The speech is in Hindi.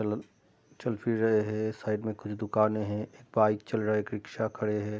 चलन चल-फिर रहें हैं। साइड में कुछ दुकाने हैं। एक बाइक चल रहे हैं। एक रिक्शा खड़े हैं।